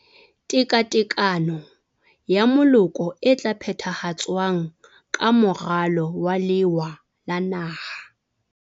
Tekatekano ya Moloko e tla phethahatswang ka Moralo wa Lewa la Naha.